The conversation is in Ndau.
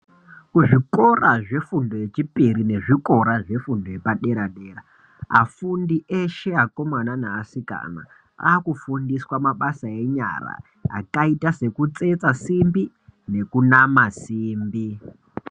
Kuzvikora zvefundo yechipiri nekuzvikora zvefundo yepadera dera, afundi eshe akomana neasikana akufundiswa mabasa enyara akaita sekutsetsa simbi nekunama simbi.